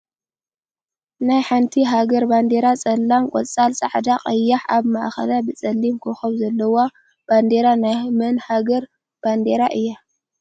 ናይ ሓንቲ ሃገር ባንዴራ ፀላም ፣ቆፃል፣ ፃዕዳ፣ ቀያሕ ፣ኣብ ማእከላ ብፀላም ኮኮብ ዘለዋ ባንዴራ ናይ መን ሃገር ባንዴራ እያ ?